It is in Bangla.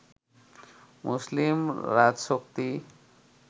মুসলিম রাজশক্তি